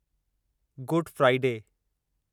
good Friday